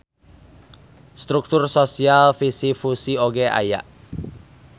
Struktur sosial fisi-fusi oge aya.